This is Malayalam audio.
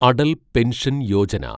അടൽ പെൻഷൻ യോജന